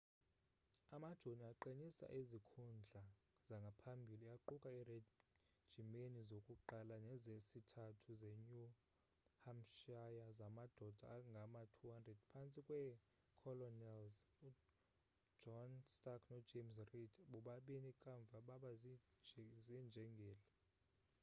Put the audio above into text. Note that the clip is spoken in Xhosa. amajoni aqinisa izikhundla zangaphambili aquka iirejimeni zokuqala nezesithathu zenew hampshire zamadoda angama-200 phantsi kweecolonels ujohn stark nojames reed bobabini kamva baba ziinjengele